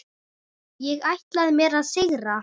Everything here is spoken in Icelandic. Ég ætlaði mér að sigra.